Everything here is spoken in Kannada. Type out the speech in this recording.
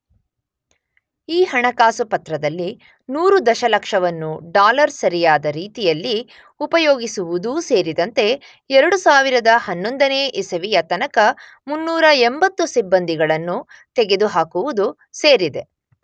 ಈ ಹಣಕಾಸು ಪತ್ರದಲ್ಲಿ 100 ದಶಲಕ್ಷವನ್ನು ಡಾಲರ್ ಸರಿಯಾದ ರೀತಿಯಲ್ಲಿ ಉಪಯೋಗಿಸುವುದೂ ಸೇರಿದಂತೆ 2011ನೇ ಇಸವಿಯ ತನಕ 380 ಸಿಬ್ಬಂದಿಗಳನ್ನು ತೆಗೆದುಹಾಕುವುದು ಸೇರಿದೆ.